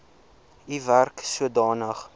u werk sodanig